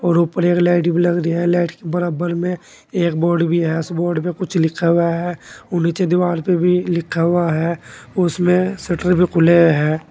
और ऊपर एक लाइट भी लग रही है लाइट के बराबर में एक बोर्ड भी है उस बोर्ड पे कुछ लिखा हुआ है और नीचे दीवाल पे भी लिखा हुआ है उसमे शटर भी खुले है।